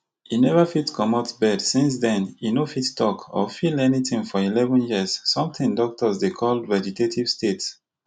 e never fit comot bed since den e no fit tok or feel anytin for eleven years sometin doctors dey call vegetative state